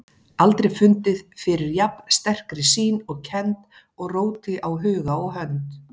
Aldrei fundið fyrir jafn sterkri sýn og kennd og róti á huga og hönd.